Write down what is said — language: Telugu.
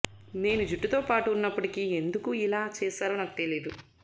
నేను జట్టుతో పాటు ఉన్నప్పటికీ ఎందుకు ఇలా చేశారో నాకు తెలీదు